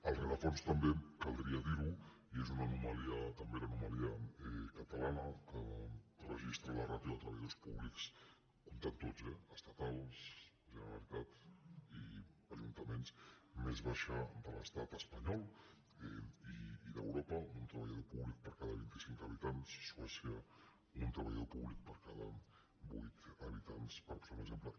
al rerefons també caldria dir·ho i és també l’anoma·lia catalana que registra la ràtio de treballadors pú·blics comptant tots eh estatals generalitat i ajun·taments més baixa de l’estat espanyol i d’europa un treballador públic per cada vint cinc habitants suècia un tre·ballador públic per cada vuit habitants per posar un exem·ple